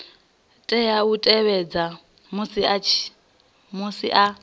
tea u tevhedza musi a